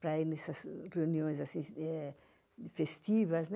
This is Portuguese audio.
para ir nessas reuniões festivas.